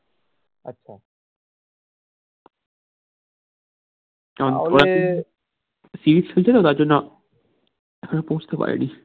series চলছে তো তার জন্য এখনো পৌঁছতে পারেনি